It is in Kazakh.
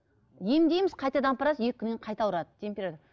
емдейміз қайтадан апарасыз екі күннен кейін қайта ауырады